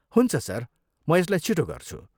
हुन्छ सर, म यसलाई छिटो गर्छु।